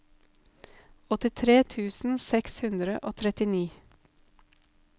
åttitre tusen seks hundre og trettini